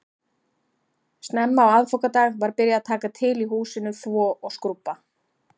Snemma á aðfangadag var byrjað að taka til í húsinu, þvo og skrúbba